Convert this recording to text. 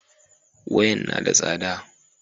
Wayan na da tsada